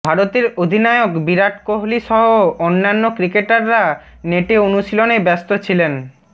ভারতের অধিনায়ক বিরাট কোহলি সহ অন্যান্য ক্রিকেটাররা নেটে অনুশীলনে ব্যস্ত ছিলেন